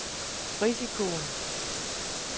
risikoen